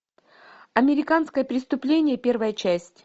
американское преступление первая часть